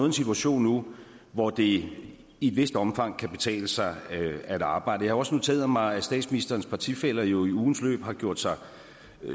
en situation nu hvor det i et vist omfang kan betale sig at arbejde jeg har også noteret mig at statsministerens partifæller jo i ugens løb har gjort sig